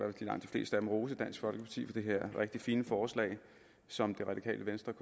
rose dansk folkeparti for det her rigtig fine forslag som det radikale venstre